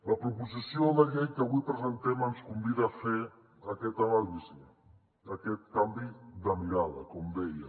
la proposició de llei que avui presentem ens convida a fer aquesta anàlisi aquest canvi de mirada com deia